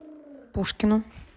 пушкину